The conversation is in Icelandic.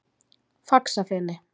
Faxafeni